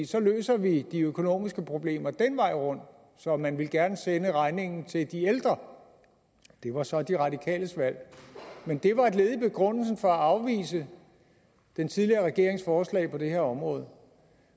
så løser vi de økonomiske problemer den vej rundt så man ville gerne sende regningen til de ældre det var så de radikales valg men det var et led i begrundelsen for at afvise den tidligere regerings forslag på det her område